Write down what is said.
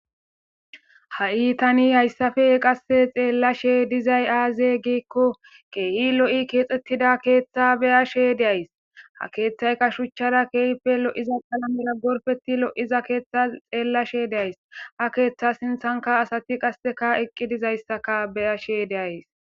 Ha7i tani hayssafe qasse xeellashe dizay aaze giikko keehi lo7i keexxettida keeththa beya she deays ha keeththayka shuchchara keehipe lo7iza palamera gorfeti lo7iza keeththa xeellashe deays ha keeththa sinthanka asati qasseka eqqi dizayssaka beyashe deays.